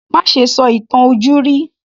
Má ṣe sọ ìtàn ojúrí